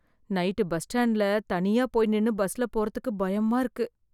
night bus ஸ்டாண்ட்ல தனியா போய் நின்னு பஸ்ல போறத்துக்கு பயமாயிருக்கு